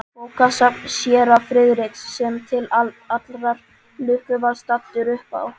Bókasafn séra Friðriks, sem til allrar lukku var staddur uppá